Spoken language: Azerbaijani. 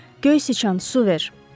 Göy sıçan, su ver.